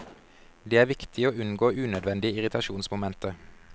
Det er viktig å unngå unødvendige irritasjonsmomenter.